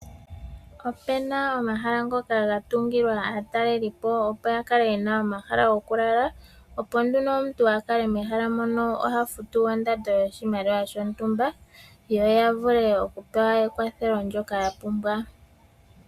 Opuna omahala ngoka gatungilwa aatalelipo opo ya kale yena omahala gokulala, opo nduno omuntu a kale mehala mono ohafutu ondando yoshimaliwa shontumba yo ya vule okupewa ekwathelo ndyoka ya pumbwa.